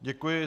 Děkuji.